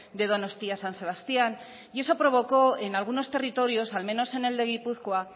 de donostia san sebastián y eso provocó en algunos territorios al menos en el de gipuzkoa